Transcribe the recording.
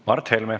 Mart Helme.